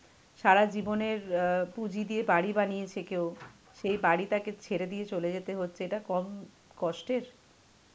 যারা ভাব সারা জীবনের অ্যাঁ পুঁজি দিয়ে বাড়ি বানিয়েছে কেউ সেই বাড়িটাকে ছেড়ে দিয়ে চলে যেতে হচ্ছে, এটা কম কষ্টের.